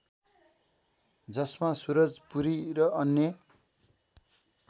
जसमा सुरजपुरी र अन्य